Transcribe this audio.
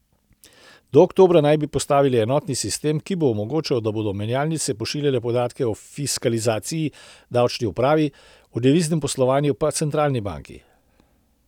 Do oktobra naj bi postavili enotni sistem, ki bo omogočal, da bodo menjalnice pošiljale podatke o fiskalizaciji davčni upravi, o deviznem poslovanju pa centralni banki.